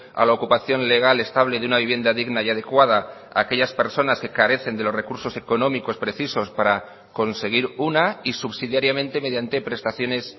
a la ocupación legal estable de una vivienda digna y adecuada a aquellas personas que carecen de los recursos económicos precisos para conseguir una y subsidiariamente mediante prestaciones